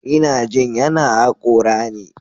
Ina jin yana hakora ne.